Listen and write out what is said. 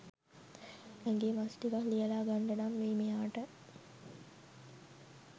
ඇඟේ මස් ටිකක් ලියලා ගන්ඩනම් වෙයි මෙයාට.